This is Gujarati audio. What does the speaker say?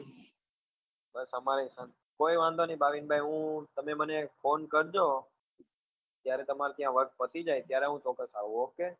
હવે તમારે આમ કોઈ વાંધો નહિ ભાવિન ભાઈ હું તમે મને phone કરજો જ્યારે તમારે ત્યાં work પતિ જાય ત્યારે હું ચોક્કસ આવું okay